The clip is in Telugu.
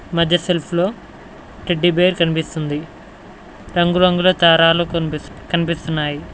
మధ్య సెల్ఫ్ లో టెడ్డీబేర్ కనిపిస్తుంది రంగురంగుల దారాలు కన్పిస్ కనిపిస్తున్నాయి.